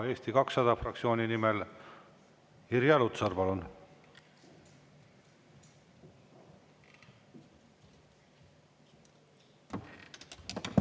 Eesti 200 fraktsiooni nimel Irja Lutsar, palun!